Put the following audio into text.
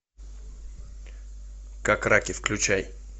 как раки включай